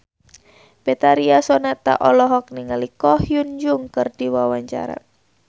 Betharia Sonata olohok ningali Ko Hyun Jung keur diwawancara